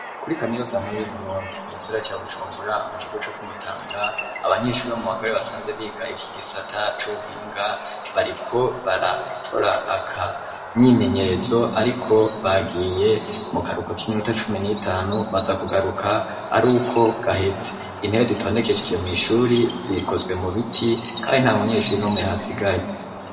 Kuri kamirozankuru y'uburundi musera ca bucumbura mu kigo co kumutanga abanyinshuri bo mu bakabare basanze biga ityo igisata c'ubuhinga bariko barakora aka myimenyerezo, ariko bagiye mu karuko k'iminuta cumi n'itanu baza kugaruka ari uko gaheze intebe zitonekeshije mw'ishuri zia bikozwe mu biti, kandi nta munyeshuri no muyhasigaye.